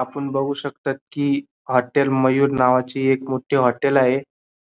आपण बघू शकतात की हॉटेल मयूर नावाची एक मोठी हॉटेल आहे